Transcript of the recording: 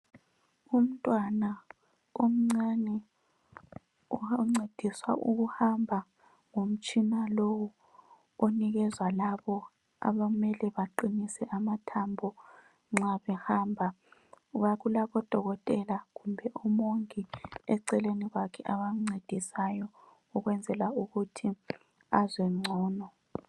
Umntwana omncane uncediswa ukuhamba ngumtshina lowu onikezwa labo abamele baqinise amathambo nxa behamba, ngoba kulabodokotela kumbe umongi eceleni kwakhe abamncedisayo, ukwenzela ukuthi azwe ngcono.